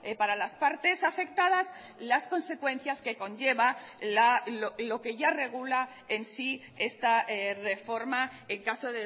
para las partes afectadas las consecuencias que conlleva lo que ya regula en sí esta reforma en caso